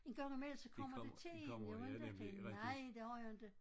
I gang imellem så kommer det til én jo inte tænker nej der var jo inte